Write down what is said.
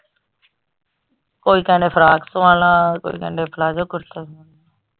ਕੋਈ ਕਹਿਣ ਡੇਆ ਫਰਾਕ ਸਵਾਲਾ ਕੋਈ ਕਹਿਣ ਡੇਆ ਪਲਾਜ਼ੋ ਕੁੜਤਾ।